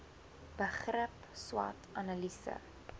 begrip swot analise